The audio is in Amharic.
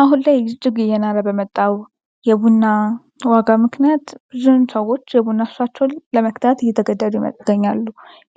አሁን ላይ እጅግ እየናረ በመጣው የቡና ዋጋ ምክንያት ብዙ ሰዎች የቡና ሱሳቸውን ለመግታት እየተገደዱ ይገኛሉ።